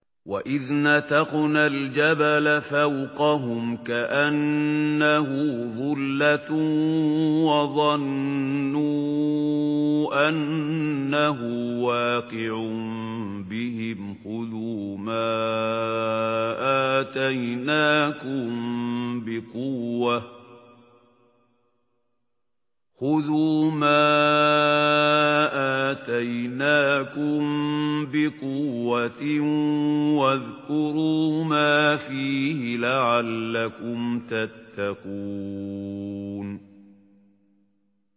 ۞ وَإِذْ نَتَقْنَا الْجَبَلَ فَوْقَهُمْ كَأَنَّهُ ظُلَّةٌ وَظَنُّوا أَنَّهُ وَاقِعٌ بِهِمْ خُذُوا مَا آتَيْنَاكُم بِقُوَّةٍ وَاذْكُرُوا مَا فِيهِ لَعَلَّكُمْ تَتَّقُونَ